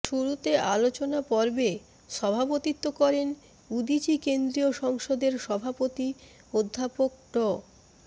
শুরুতে আলোচনাপর্বে সভাপতিত্ব করেন উদীচী কেন্দ্রীয় সংসদের সভাপতি অধ্যাপক ড